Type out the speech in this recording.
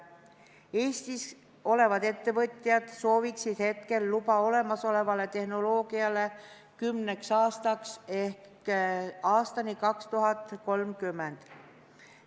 Eestis olevad ettevõtjad sooviksid hetkel luba olemasolevale tehnoloogiale kümneks aastaks ehk aastani 2030.